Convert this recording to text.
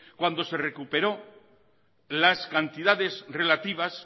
cuando se recuperó las cantidades relativas